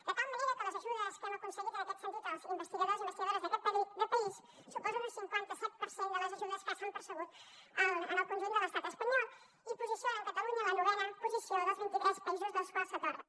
de tal manera que les ajudes que hem aconseguit en aquest sentit els investigadors i investigadores d’aquest país suposen un cinquanta set per cent de les ajudes que s’han percebut en el conjunt de l’estat espanyol i posicionen catalunya en la novena posició dels vint i tres països als quals s’atorga